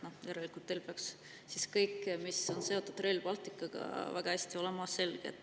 Järelikult peaks teile siis kõik, mis on seotud Rail Balticuga, väga hästi selge olema.